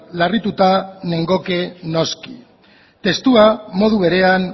larrituta nengoke noski testua modu berean